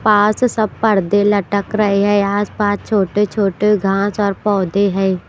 पास सब पर्दे लटक रहे हैं आसपास छोटे छोटे घांस और पौधे है।